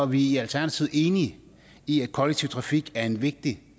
vi i alternativet enige i at kollektiv trafik er en vigtig